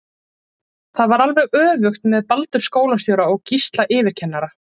Það var alveg öfugt með Baldur skólastjóra og Gísla yfirkennara.